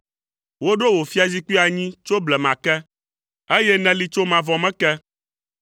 Woɖo wò fiazikpui anyi tso blema ke, eye nèli tso mavɔ me ke.